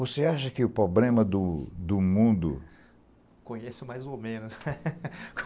Você acha que o problema do do mundo... Conheço mais ou menos.